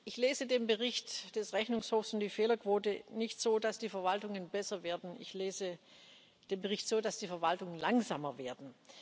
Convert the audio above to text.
Ich lese den Bericht des Rechnungshofs und die Fehlerquote nicht so, dass die Verwaltungen besser werden. Ich lese den Bericht so, dass die Verwaltungen langsamer werden.